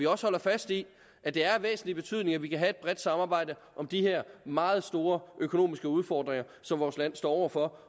også holder fast i at det er af væsentlig betydning at vi kan have et bredt samarbejde om de her meget store økonomiske udfordringer som vores land står over for